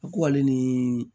A k'ale ni